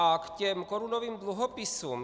A k těm korunovým dluhopisům.